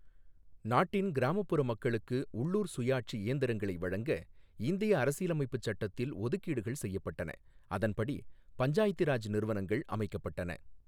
நாட்டின் கிராமப்புற மக்களுக்கு உள்ளூர் சுயாட்சி இயந்திரங்களை வழங்க, இந்திய அரசியலமைப்புச் சட்டத்தில் ஒதுக்கீடுகள் செய்யப்பட்டன, அதன்படி பஞ்சாயத்தி ராஜ் நிறுவனங்கள் அமைக்கப்பட்டன.